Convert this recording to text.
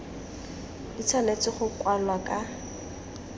di tshwanetse go kwalwa ka